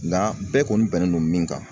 Nga bɛɛ kɔni bɛnnen don min kan